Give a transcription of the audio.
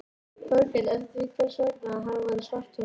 Þórkel eftir því hvers vegna hann væri í svartholinu.